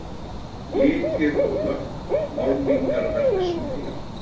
Litir og lökk, málningarverksmiðja